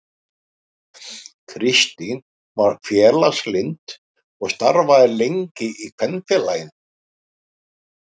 Kristín var félagslynd og starfaði lengi í Kvenfélaginu.